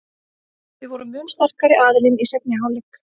Við vorum mun sterkari aðilinn í seinni hálfleik.